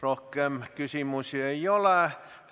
Rohkem küsimusi ei ole.